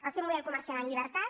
el seu model comercial en llibertat